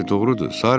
Bəli, doğrudur.